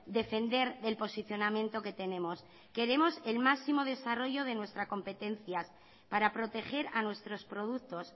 defender el posicionamiento que tenemos queremos el máximo desarrollo de nuestra competencia para proteger a nuestros productos